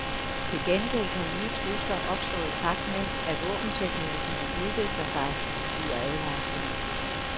Til gengæld kan nye trusler opstå i takt med, at våbenteknologien udvikler sig, lyder advarslen.